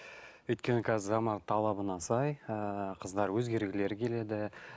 өйткені қазір заман талабына сай ыыы қыздар өзгергілері келеді